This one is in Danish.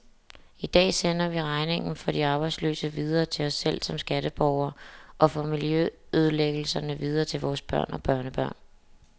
I dag sender vi regningen for de arbejdsløse videre til os selv som skatteborgere, og for miljøødelæggelserne videre til vores børn og børnebørn.